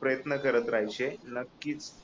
प्रयत्न करत राहायचे नक्कीच